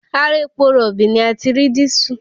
Ara epo rọ̀bì ni a ti rí dísù